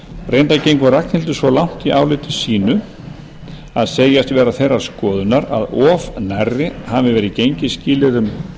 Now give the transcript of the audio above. reyndar gengur ragnhildur svo langt í áliti sínu að segjast vera þeirrar skoðunar að of nærri hafi verið gengið skilyrðum